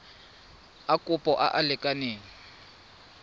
a kopo a a lekaneng